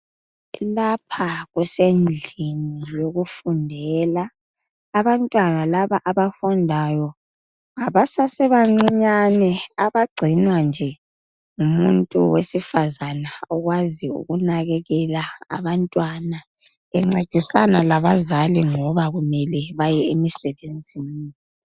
Lapha kusendlini yokufundela abantwana laba abafundayo ngaba sesebancinyane abagcinwa ngumuntu wesifazana okwazi ukunakelela abantwana bencedisana labazali ngoba kumele baye emsebenzini.